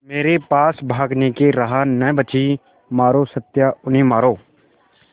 मेरे पास भागने की राह न बची मारो सत्या उन्हें मारो